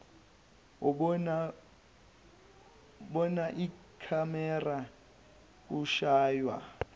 ubona ikhamera ushaywa